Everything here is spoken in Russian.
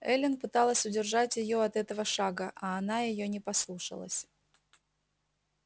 эллин пыталась удержать её от этого шага а она её не послушалась